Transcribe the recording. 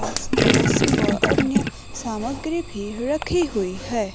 लहसुन व अन्य सामग्री भी रखी हुई है।